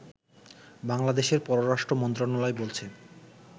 বাংলাদেশের পররাষ্ট্র মন্ত্রণালয় বলছে